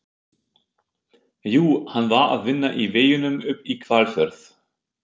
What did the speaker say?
Jú, hann var að vinna í veginum upp í Hvalfjörð.